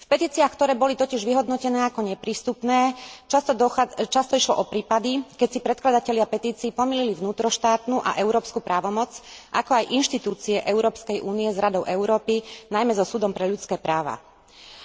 V petíciách, ktoré boli totiž vyhodnotené ako neprístupné, často išlo o prípady, keď si predkladatelia petícií pomýlili vnútroštátnu a európsku právomoc, ako aj inštitúcie Európskej únie s Radou Európy, najmä so Súdom pre ľudské práva.